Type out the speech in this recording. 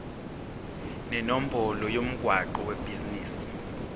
nenombolo yomgwaqo webhizinisi